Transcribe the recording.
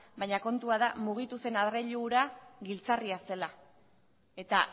baina kontua da mugitu zen adreilu hura giltzarria zela eta